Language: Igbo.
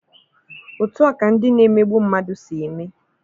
Otu a ka ndị na-emegbu mmadụ si eme.